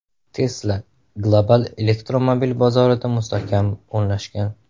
Tesla global elektromobil bozorida mustahkam o‘rnashgan.